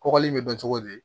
Kɔkɔli in be kɛ cogo di